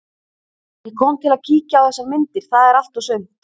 Ég kom til að kíkja á þessar myndir, það er allt og sumt.